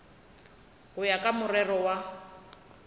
go ya ka morero wa